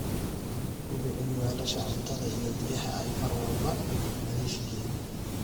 Hubi in weelasha cuntada iyo biyaha ay mar walba nadiif yihiin.